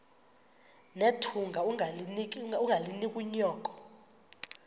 nethunga ungalinik unyoko